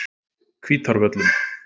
Hvítárvöllum